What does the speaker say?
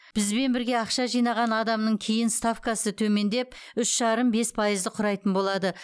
бізбен бірге ақша жинаған адамның кейін ставкасы төмендеп үш жарым бес пайызды құрайтын болады